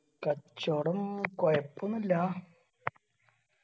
കച്ചോടം കൊയപ്പൊന്നില്ല.